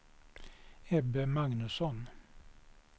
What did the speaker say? Ebbe Magnusson